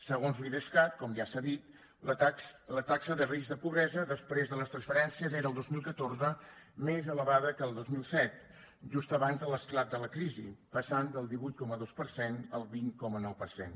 segons l’idescat com ja s’ha dit la taxa de risc de pobresa després de les transferències era el dos mil catorze més elevada que el dos mil set just abans de l’esclat de la crisi passant del divuit coma dos per cent al vint coma nou per cent